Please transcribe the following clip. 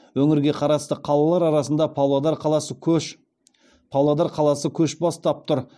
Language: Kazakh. өңірге қарасты қалалар арасында павлодар қаласы көш бастап тұр